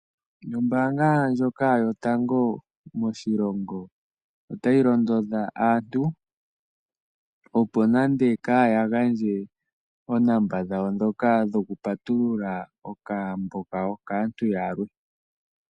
Ombaanga ndjoka yotango moshilongo otayi londodha aantu opo nande kaaya gandje oonamba dhawo dhokupatulula okambo kawo kaantu yalwe.